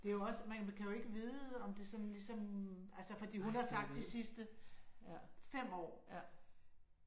Det er jo også man kan jo ikke vide om det sådan ligesom altså fordi hun har sagt de sidste 5 år